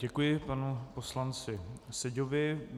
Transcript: Děkuji panu poslanci Seďovi.